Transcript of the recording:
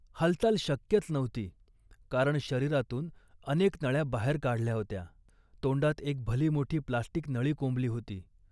हालचाल शक्यच नव्हती, कारण शरीरातून अनेक नळ्या बाहेर काढल्या होत्या. तोंडात एक भलीमोठी प्लॅस्टिक नळी कोंबली होती